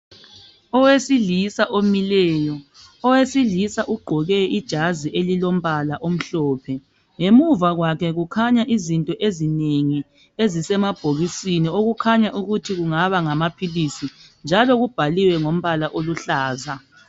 Owesilisa omileyo, owesilisa ogqoke ijazi elilombala omhlophe. Ngemuva kwakhe kukhanya izinto ezinengi ezisemabhokisini okukhanya ukuthi kungaba ngamaphilisi njalo kubhaliwe ngombala oluhlaza.